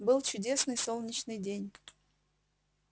был чудесный солнечный день